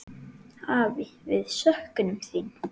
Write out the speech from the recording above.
Afi, við söknum þín.